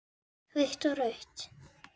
Hvítt og rautt.